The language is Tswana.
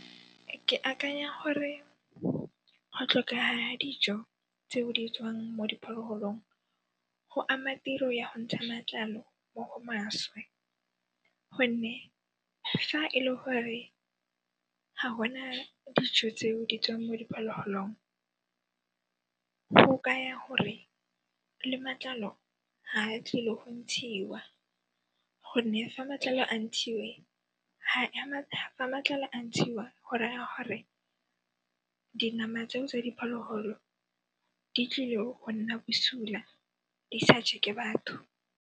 Ke akanya gore go tlhokeha dijo tse o di tswang mo diphologolong, go ama tiro ya go ntsha matlalo mo go maswe gonne fa e le gore ga gona dijo tseo di tswang mo diphologolong, go kaya gore le matlalo ha tlile go ntshiwa gonne fa matlalo a ntshiwe, ha matlalo a ntshiwa go raya gore dinama tseo tsa diphologolo di tlile go nna bosula di sa je ke batho.